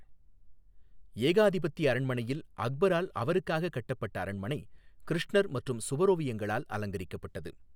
ஏகாதிபத்திய அரண்மனையில் அக்பரால் அவருக்காகக் கட்டப்பட்ட அரண்மனை கிருஷ்ணர் மற்றும் சுவரோவியங்களால் அலங்கரிக்கப்பட்டது.